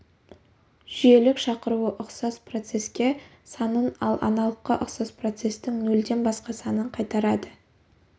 жүйелік шақыруы ұқсас процеске санын ал аналыққа ұқсас процестің нөлден басқа санын қайтарады